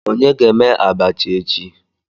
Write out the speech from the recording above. Onye ga eme abacha echi?